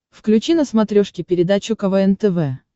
включи на смотрешке передачу квн тв